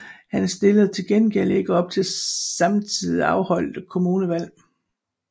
Han stillede til gengæld ikke op til samtidigt afholdte kommunalvalg